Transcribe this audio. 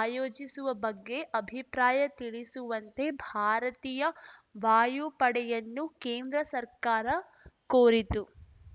ಆಯೋಜಿಸುವ ಬಗ್ಗೆ ಅಭಿಪ್ರಾಯ ತಿಳಿಸುವಂತೆ ಭಾರತೀಯ ವಾಯುಪಡೆಯನ್ನು ಕೇಂದ್ರ ಸರ್ಕಾರ ಕೋರಿತ್ತು